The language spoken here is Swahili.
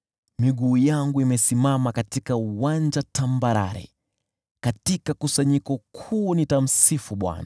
Miguu yangu imesimama katika uwanja tambarare; katika kusanyiko kuu nitamsifu Bwana .